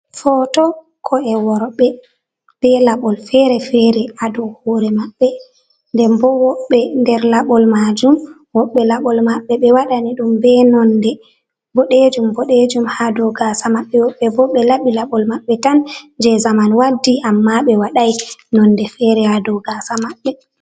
Footo ko'e worɓe be laɓol fere fere a dow hoore maɓɓe, nden bo woɓɓe nder laɓol maajum, woɓɓe laɓol maɓɓe ɓe waɗani ɗum be nonde boɗeejum boɗeejum, haa dow gaasa maɓɓe. Woɓɓe bo ɓe laɓi laɓol maɓɓe tan jey zamanu waddi, ammaa ɓe waɗay nonde feere haa dow gaasa maɓɓe.